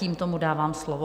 Tímto mu dávám slovo.